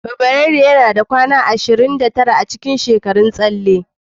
Fabrairu yana da kwanaki ashirin da tara a cikin shekarun tsalle.